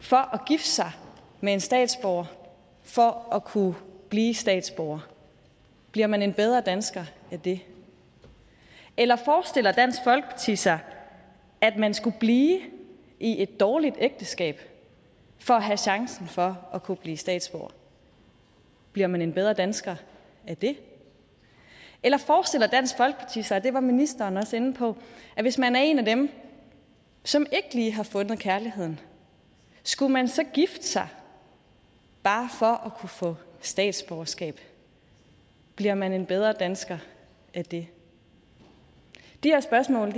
for at gifte sig med en statsborger for at kunne blive statsborger bliver man en bedre dansker af det eller forestiller dansk folkeparti sig at man skulle blive i et dårligt ægteskab for at have chancen for at kunne blive statsborger bliver man en bedre dansker af det eller forestiller dansk folkeparti sig og det var ministeren også inde på at hvis man er en af dem som ikke lige har fundet kærligheden skulle man så gifte sig bare for at kunne få statsborgerskab bliver man en bedre dansker af det de her spørgsmål